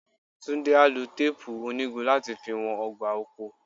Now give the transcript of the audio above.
Túndé á lo téèpù onígun láti fi wọn ọgbà oko.